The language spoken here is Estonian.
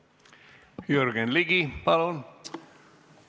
Jürgen Ligi, palun!